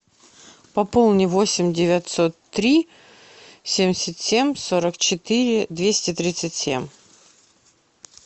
пополни восемь девятьсот три семьдесят семь сорок четыре двести тридцать семь